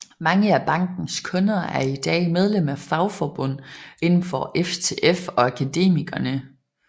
Mange af bankens kunder er i dag medlem af fagforbund inden for FTF og Akademikerne